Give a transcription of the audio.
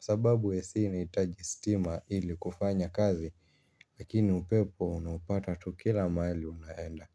Sababu ac inahitaji stima ili kufanya kazi lakini upepo unaupata tu kila mahali unaenda.